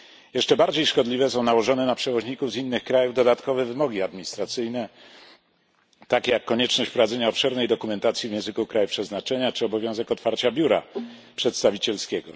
Jeszcze bardziej szkodliwe są nałożone na przewoźników z innych krajów dodatkowe wymogi administracyjne, takie jak konieczność prowadzenia obszernej dokumentacji w języku kraju przeznaczenia czy obowiązek otwarcia biura przedstawicielskiego.